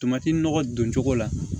Tomati nɔgɔ don cogo la